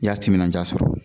I y'a timinanja sɔrɔ